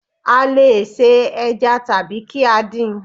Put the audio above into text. A le è se ẹja tàbí kí á din